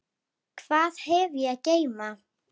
Hvað hef ég að geyma?